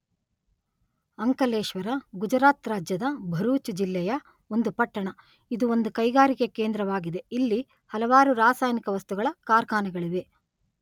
ಅಂಕಲೇಶ್ವರ ಗುಜರಾತ್ ರಾಜ್ಯದ ಭರೂಚ್ ಜಿಲ್ಲೆ ಯ ಒಂದು ಪಟ್ಟಣ.ಇದು ಒಂದು ಕೈಗಾರಿಕೆ ಕೇಂದ್ರವಾಗಿದೆ.ಇಲ್ಲಿ ಹಲವಾರು ರಾಸಾಯನಿಕ ವಸ್ತುಗಳ ಕಾರ್ಖಾನೆಗಳಿವೆ.